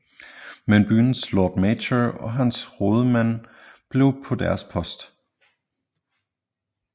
Men byens Lord Mayor og hans rådmænd blev på deres post